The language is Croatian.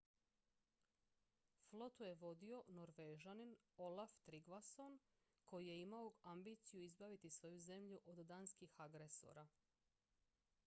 flotu je vodio norvežanin olaf trygvasson koji je imao ambiciju izbaviti svoju zemlju od danskih agresora